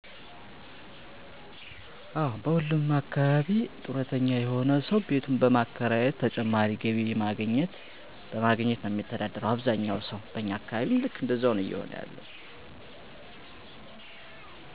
በእኛ ማህበረሰብ ውሰጥ አብዛኛው ሰው ጡረተኛ በሞሆኑ ቤቱን በማከራየት ነው ተጨማሪ ገቢ የሚያገኘው።